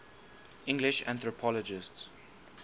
english anthropologists